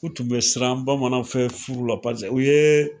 O tun be siran bamananw fɛ furu la, paseke u ye